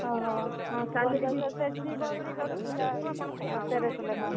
ଓହୋ ସେଠି ମୋର ବି କଟିଥିଲା ହଁ ତେରଶହ ଲେଖାଁ।